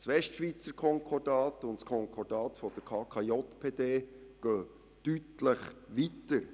Das KSU und das KÜPS gehen bei der Regulierung deutlich weiter.